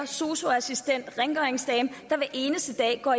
sosu assistent rengøringsdame der hver eneste dag går